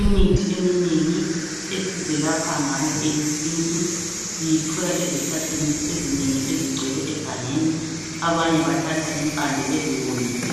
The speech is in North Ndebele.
Imithi eminengi esizelapha ngayo eyesintu siyithola ezihlahleni ezinengi ezigcwele egangeni abanye bathatha impande beziwomise